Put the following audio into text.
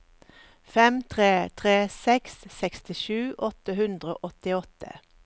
fem tre tre seks sekstisju åtte hundre og åttiåtte